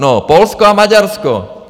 No, Polsko a Maďarsko.